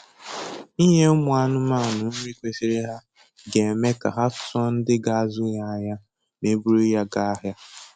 Inye ụmụ anụmanụ nri kwesịrị ha ga-eme ka ha tụọ ndị ga-azụ ya n'anya ma e buru ha gaa ahịa